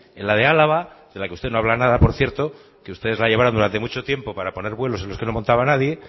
en la de álava de la que ustedes no habla nada por cierto que ustedes la llevaron durante mucho tiempo para poner vuelos en los que no montaba nadie